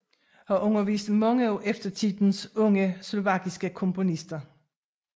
Har undervist mange af eftertidens unge slovakiske komponister